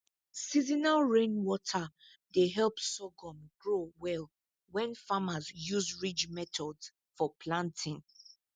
seasonal rainwater dey help sorghum grow well when farmers use ridge method for planting